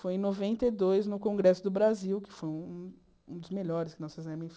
Foi em noventa e dois, no Congresso do Brasil, que foi um um dos melhores que nós fizemos.